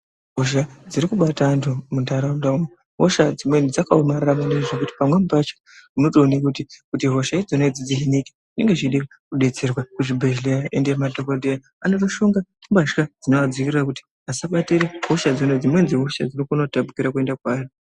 Hosha dziri kubata anthu muntharaunda umo, hosha dzimweni dzakaomarara kuti pamweni pacho unotoona kuti hosha dzacho dzinenge dzeida kudetserwa kuzvibehleraya ende madhokodheya anotoshonga mbatya dzinoadziirira kuti asabatira hosha dzakona ngekuti hosha dzimweni dzakona dzinogona kutapukira dzeienda kwaari.